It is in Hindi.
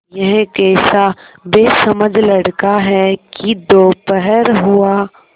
यह कैसा बेसमझ लड़का है कि दोपहर हुआ